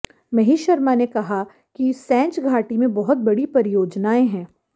महेश शर्मा ने कहा कि सैंज घाटी में बहुत बड़ी परियोजनाएं हैं